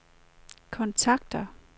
kontakter